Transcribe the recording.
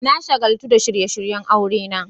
Na shagaltu da shirye-shiryen aurena.